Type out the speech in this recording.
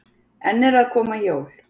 Enn eru að koma jól.